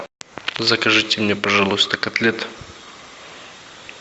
закажите мне пожалуйста котлет